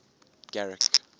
garrick